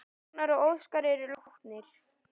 Ragnar og Óskar eru látnir.